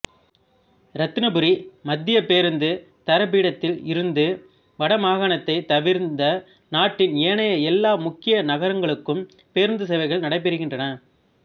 இரத்தினபுரி மத்திய பேருந்து தரிப்பிடத்தில் இருந்து வடமாகாணத்தை தவிர்ந்த நாட்டின் ஏனைய எல்லா முக்கிய நகரங்களுக்கும் பேருந்துச் சேவைகள் நடைபெறுகின்றன